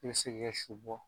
I si g'i su bɔ